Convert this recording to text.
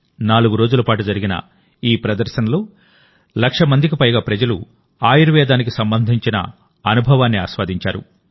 నాలుగు రోజుల పాటు జరిగిన ఈ ఎక్స్పోలో లక్ష మందికి పైగా ప్రజలు ఆయుర్వేదానికి సంబంధించిన అనుభవాన్ని ఆస్వాదించారు